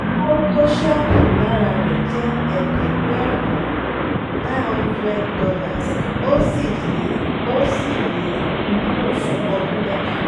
owó tó ṣẹ́ kù lára rẹ̀ jẹ́ ẹ̀ẹ́dẹ́gbẹ̀rún nine hundred dolars ó sì lè ó sì lè wúlò fún ọdún mẹ́ta